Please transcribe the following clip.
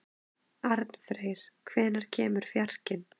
Arnfreyr, hvenær kemur fjarkinn?